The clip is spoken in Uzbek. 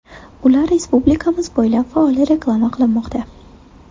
Ular respublikamiz bo‘ylab faol reklama qilinmoqda.